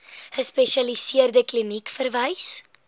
gespesialiseerde kliniek verwys